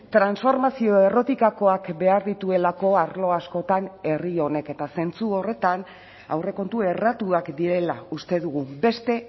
transformazio errotikakoak behar dituelako arlo askotan herri honek eta zentzu horretan aurrekontu erratuak direla uste dugu beste